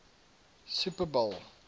super bowl